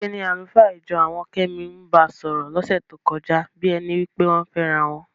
ṣe ni àlùfáà ìjọ àwọn Kẹ́mi ń ba sọ̀rọ̀ lọ́sẹ̀ tó kọjá bí ẹni pé wọ́n ń fẹ́ra wọn.